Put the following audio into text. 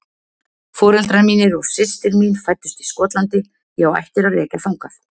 Foreldrar mínir og systir mín fæddust í Skotlandi, ég á ættir að rekja þangað